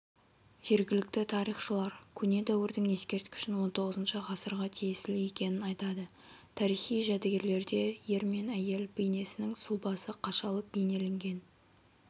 жергілікті тарихшылар көне дәуірдің ескерткішін х-х ғасырға тиесілі екенін айтады тарихи жәдігерлерде ер мен әйел бейнесінің сұлбасы қашалып бейнеленген